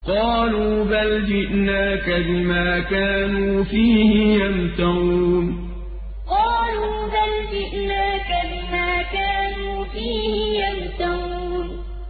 قَالُوا بَلْ جِئْنَاكَ بِمَا كَانُوا فِيهِ يَمْتَرُونَ قَالُوا بَلْ جِئْنَاكَ بِمَا كَانُوا فِيهِ يَمْتَرُونَ